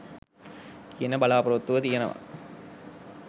කියන බලා‍පොරොත්තුව තියෙනවා.